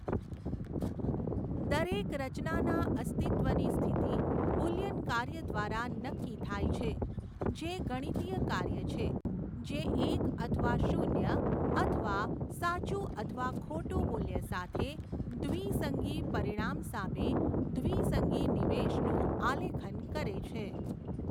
દરેક રચનાના અસ્તિત્વની સ્થિતિ બુલિયન કાર્ય દ્વારા નક્કી થાય છે, જે ગણિતીય કાર્ય છે જે એક અથવા શૂન્ય અથવા સાચું અથવા ખોટું મૂલ્ય સાથે દ્વિસંગી પરિણામ સામે દ્વિસંગી નિવેશનું આલેખન કરે છે.